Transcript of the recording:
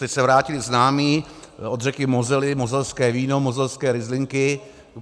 Teď se vrátili známí od řeky Mosely, moselské víno, moselské ryzlinky.